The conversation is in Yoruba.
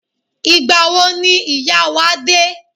Ìgbà wo ni ìyá wa dé?